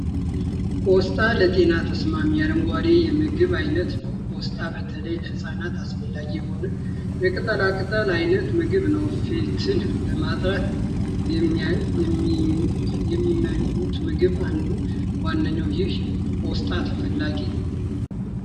ቆስጣ ለጤና ተስማሚ የአረንጓዴ የምግብ አይነት ነዉ።! ቆስጣ በተለይ ለህፃናት አስፈላጊ የሆነ የቅጠላ ቅጠል አይነት ምግብ ነዉ።! ፊትን ለማጥራት የሚመኙት ምግብ አንዱና ዋነኛዉ ይህ ቆስጣ ተፈልጎ አይገኝም!